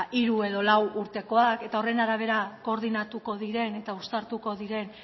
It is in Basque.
hiru edo lau urtekoak eta horren arabera koordinatuko diren eta uztartuko diren